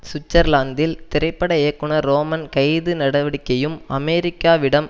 சுவிட்சர்லாந்தில் திரைப்பட இயக்குனர் ரோமன் கைது நடவடிக்கையும் அமெரிக்காவிடம்